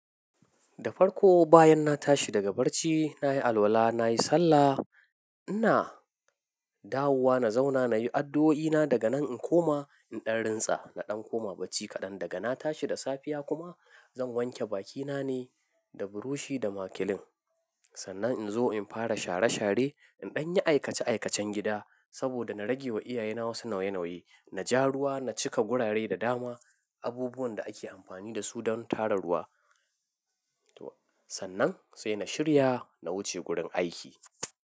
Da farko bayan na tashi daga bacci, na yi alwala, na yi sallah, ina dawowa na zauna na yi addu'o'ina. Daga nan in koma in ɗan rintsa, na ɗan koma barci kaɗan. Daga na tashi da safiya kuma zan wanke bakina ne da burushi da makilin. Sannan in zo in fara share share, in ɗan yi aikace-aikacen gida saboda na rage wa iyayena wasu nauye-nauye. Na ja ruwa, na cika gurare da dama, abubuwan da ake amfani da su don tara ruwa. To, sannan sai na shirya, na wuce gurin aiki.